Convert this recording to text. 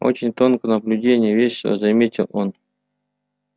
очень тонкое наблюдение весело заметил он